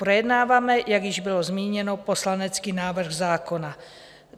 Projednáváme, jak již bylo zmíněno, poslanecký návrh zákona.